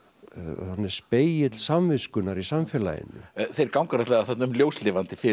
hann er spegill samviskunnar í samfélaginu þeir ganga náttúrulega þarna um ljóslifandi fyrir